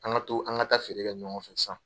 An ka to an ka feere kɛ ɲɔgɔn fɛ sisan!